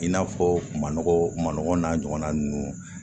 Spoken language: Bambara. I n'a fɔ ma nɔgɔ maɲɔgɔn n'a ɲɔgɔnna ninnu